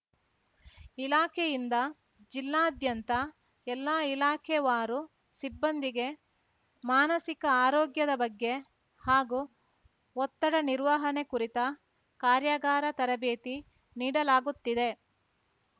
ಇಲಾಖೆಯಿಂದ ಜಿಲ್ಲಾದ್ಯಂತ ಎಲ್ಲಾ ಇಲಾಖೆವಾರು ಸಿಬ್ಬಂದಿಗೆ ಮಾನಸಿಕ ಆರೋಗ್ಯದ ಬಗ್ಗೆ ಹಾಗೂ ಒತ್ತಡ ನಿರ್ವಹಣೆ ಕುರಿತ ಕಾರ್ಯಾಗಾರ ತರಬೇತಿ ನೀಡಲಾಗುತ್ತಿದೆ